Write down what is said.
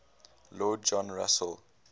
lord john russell